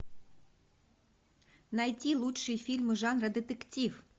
найти лучшие фильмы жанра детектив